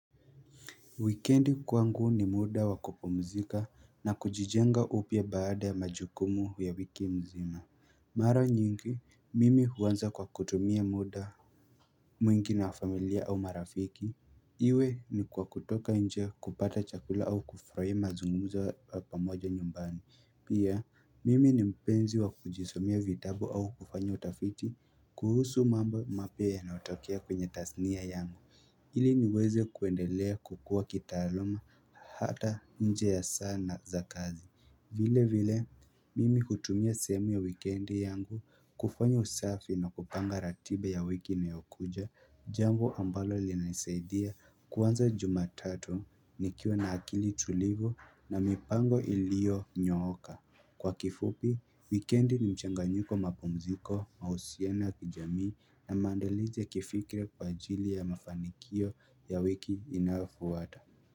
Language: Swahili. Wikendi kwangu ni muda wakupumzika na kujijenga upya baada ya majukumu ya wiki mzima Mara nyingi mimi huanza kwa kutumia muda mwingi na familia au marafiki Iwe ni kwa kutoka nje kupata chakula au kufurahia mazungumza ya pamoja nyumbani Pia mimi ni mpenzi wa kujisomea vitabu au kufanya utafiti kuhusu mambo mapya yanayotokea kwenye tathnia yangu ili niweze kuendelea kukua kitaaluma hata nje ya sana za kazi vile vile mimi hutumia sehemu ya weekendi yangu kufanya usafi na kupanga ratiba ya wiki inayokuja Jambo ambalo linanisaidia kuanza jumatato nikiwa na akili tulivu na mipango ilionyooka Kwa kifupi, weekendi ni mchanganyuko mapumziko, mahusiana kijamii na mandalizi kifikira kwa ajili ya mafanikio ya wiki inayofuata.